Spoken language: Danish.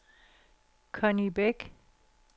Conni Bæk